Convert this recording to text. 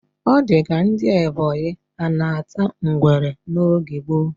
O dika ndi ebonyi anata ngwere n oge gbo